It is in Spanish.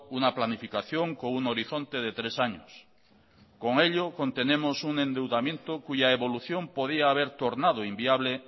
una planificación con un horizonte de tres años con ello contenemos un endeudamiento cuya evolución podría haber tornado inviable